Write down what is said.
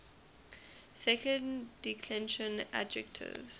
second declension adjectives